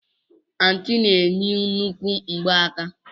Anti na-eyi nnukwu ngbaaka.